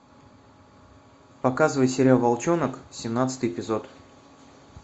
показывай сериал волчонок семнадцатый эпизод